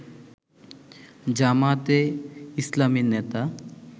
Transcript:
জামায়াতে ইসলামীর নেতা